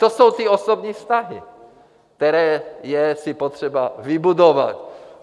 To jsou ty osobní vztahy, které je si potřeba vybudovat.